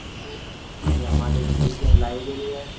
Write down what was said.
देखो यह हमारे स्कूल की लाइब्रेरी है।